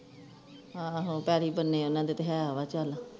ਆਹੋ ਪੈਲ਼ੀ ਬੰਨੇ ਉਹਨਾਂ ਦੇ ਹੈ ਵਾਹ ਚਲ